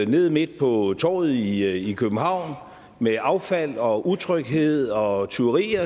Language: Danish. nede midt på torvet i københavn med affald og utryghed og tyverier